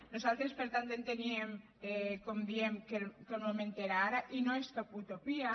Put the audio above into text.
nosaltres per tant enteníem com diem que el moment era ara i no és cap utopia